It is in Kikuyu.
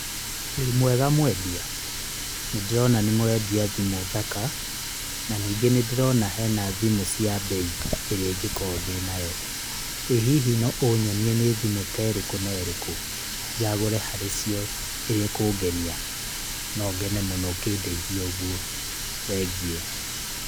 Wĩ mwega mwendia? nĩndĩrona nĩmũrendia thimũ thaka na nĩndĩrona hena thimũ cia bei ĩrĩa ingĩkorwo ndĩ nayo, ĩ hihi no ũnyonie nĩ thimũ terĩkũ nerĩkũ njagũre harĩ cio ĩrĩa ĩkũngenia no ngene mũno ũkĩndeithia ũgũo thengiũ.